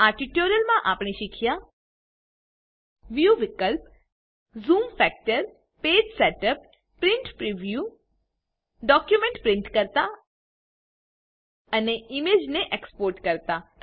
આ ટ્યુટોરીયલ માં આપણે શીખ્યા વ્યૂ વિકલ્પ zoom factor page setup print preview document print કરતા અને ઈમેજને એક્સપોર્ટ કરતા